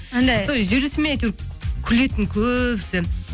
анандай сол жүрісіме әйтеуір күлетін көбісі